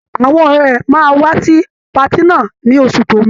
àwọn ọ̀rẹ́ rẹ máa wá sí patí náà ní oṣù tó ń bọ̀.